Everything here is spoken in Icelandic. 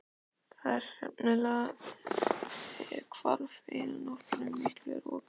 Það hreinlega hvarf eina nóttina í miklu roki.